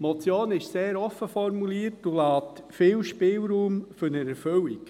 Die Motion ist sehr offen formuliert und lässt viel Spielraum zur Erfüllung.